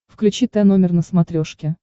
включи тномер на смотрешке